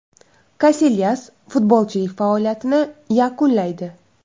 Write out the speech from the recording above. Kasilyas futbolchilik faoliyatini yakunlaydi.